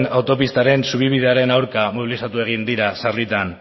autopistaren zubi bidearen aurka mobilizatu egin dira sarritan